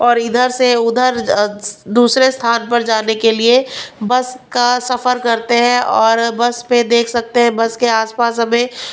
और इधर से उधर दूसरे स्थान पर जाने के लिए बस का सफर करते हैं और बस पे देख सकते हैं बस के आसपास अब ये--